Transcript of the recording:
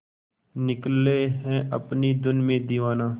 निकले है अपनी धुन में दीवाना